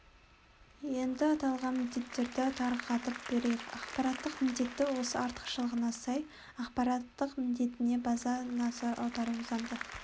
енді аталған міндеттерді тарқатып берейік ақпараттық міндеті осы артықшылығына сай ақпараттық міндетіне баса назар аударуы заңды